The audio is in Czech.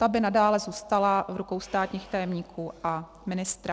Ta by nadále zůstala v rukou státních tajemníků a ministra.